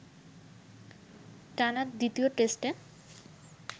টানা দ্বিতীয় টেস্টে